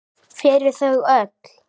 Fyrir þau öll!